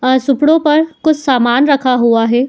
आ सुपड़ों पर कुछ सामान रखा हुआ है।